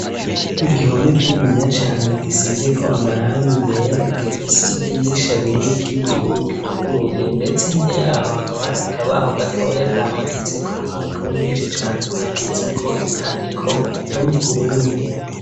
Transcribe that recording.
Igihome kininiya cane gisize ko amarangi yera ,gifise idirisha rimwe ry'ibiyo ryuguruye ndetse hirya yaho hakaba hari akabaho gatoya kahamaditseko impapuro nyinshi cane zanditse ko ivyandiko vyo mu kirundi.